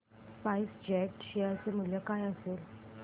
spice jet share चे मूल्य काय असेल